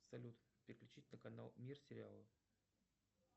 салют переключить на канал мир сериалов